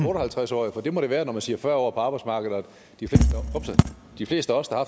og halvtreds årige for det må det være når man siger fyrre år på arbejdsmarkedet de fleste af os der